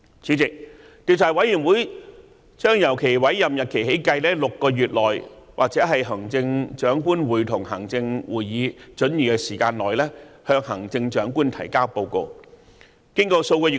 主席，調查委員會將由其委任日期起計6個月內或行政長官會同行政會議准許的時間內，向行政長官提交報告。